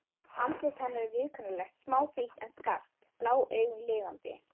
Andlit hennar er viðkunnanlegt, smáfrítt en skarpt, blá augun lifandi.